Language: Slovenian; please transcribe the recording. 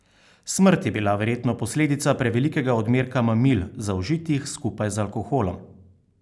Smrt je bila verjetno posledica prevelikega odmerka mamil, zaužitih skupaj z alkoholom.